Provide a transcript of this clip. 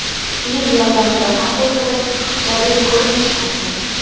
Kiyim yordamida qanday qilib xipchabel ko‘rinish mumkin?